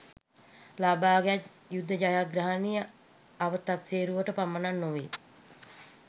ලබාගත් යුද ජයග්‍රහණය අවතක්සේරුවට පමනක් නෙවෙයි